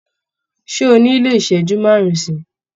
Ṣé o nílò ìṣẹ́jú márùn-ún sí i?